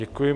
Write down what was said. Děkuji.